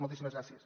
moltíssimes gràcies